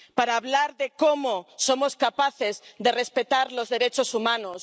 para hablar de cómo somos capaces de respetar los derechos humanos